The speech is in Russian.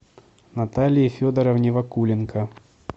наталии федоровне вакуленко